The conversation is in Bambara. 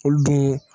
Olu den